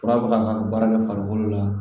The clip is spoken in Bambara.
Fura bɛ ka baara kɛ farikolo la